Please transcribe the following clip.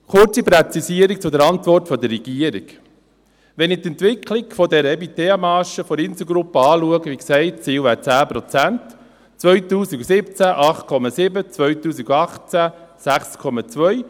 Eine kurze Präzisierung zur Antwort der Regierung: Wenn ich die Entwicklung der EBITDA-Marge der Inselgruppe anschaue – wie gesagt wäre das Ziel 10 Prozent – waren es 2017 8,7 Prozent und 2018 6,2 Prozent.